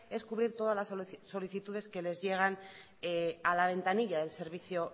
es cubrir todas las solicitudes que les llegan a la ventanilla del servicio